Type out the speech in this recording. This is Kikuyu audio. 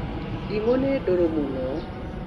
Ndimũ nĩ ndũrũ mũno.